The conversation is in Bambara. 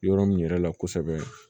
Yɔrɔ min yɛrɛ la kosɛbɛ